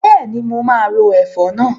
Bẹ́ẹ̀ni, mo máa ro ẹ̀fọ́ náà.